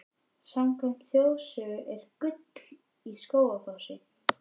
Samkvæmt þjóðsögu er gull í Skógafossi.